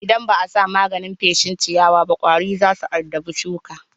Idan ba a sa maganin feshin ciyawaba ƙwari za su addabi shukan.